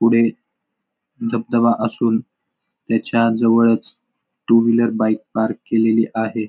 पुढे धबधबा असून त्याच्या जवळच टू व्हीलर बाईक पार्क केलेली आहे.